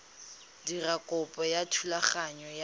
dira kopo ya thulaganyo ya